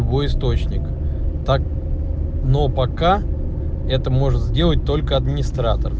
его источник так но пока это может сделать только администратор